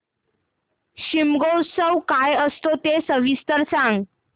शिमगोत्सव काय असतो ते सविस्तर सांग